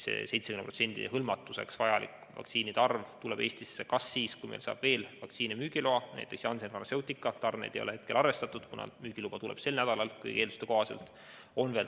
70% hõlmamiseks vajalik vaktsiinikogus tuleb Eestisse siis, kui veel mõni vaktsiin saab müügiloa, näiteks Janssen Pharmaceutica tarneid ei ole hetkel arvestatud, kuna nende vaktsiin saab müügiloa kõigi eelduste kohaselt sel nädalal.